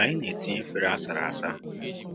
Anyị na-etinye efere sara asa